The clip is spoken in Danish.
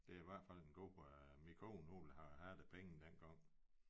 Det i hvert fald en god øh min kone hun ville have have de penge dengang